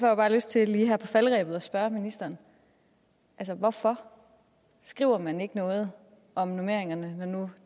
jeg bare lyst til lige her på falderebet at spørge ministeren hvorfor skriver man ikke noget om normeringerne når nu